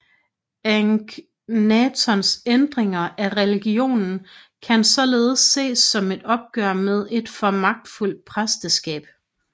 Akhnatons ændringer af religionen kan således ses som et opgør med et for magtfuldt præsteskab